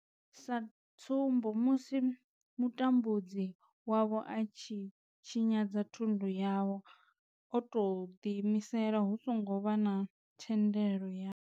Sa tsumbo musi mutambudzi wavho a tshi tshinyadza thundu yavho o tou ḓiimisela hu songo vha na thendelo yavho.